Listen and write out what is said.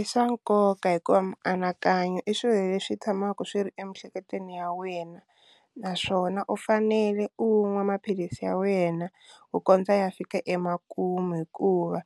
I swa nkoka hikuva mianakanyo i swilo leswi tshamaka swi ri emiehleketweni ya wena naswona u fanele u nwa maphilisi ya wena ku kondza ya fika emakumu hikuva